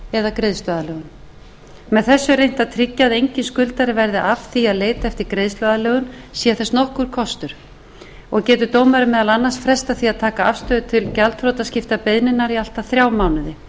greiðsluaðlögun með þessu er reynt að tryggja að enginn skuldari verði af því að leita eftir greiðsluaðlögun sé þess nokkur kostur getur dómari meðal annars frestað því að taka afstöðu til gjaldþrotaskiptabeiðninnar í allt að þrjá mánuði